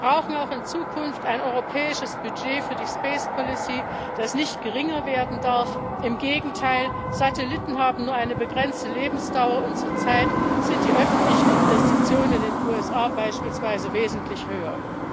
Wir brauchen auch in Zukunft ein europäisches Budget für die space policy das nicht geringer werden darf im Gegenteil Satelliten haben nur eine begrenzte Lebensdauer und zurzeit sind die öffentlichen Investitionen beispielsweise in den USA wesentlich höher.